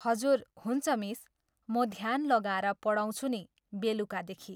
हजुर हुन्छ मिस, म ध्यान लगाएर पढाउँछु नि, बेलुकादेखि।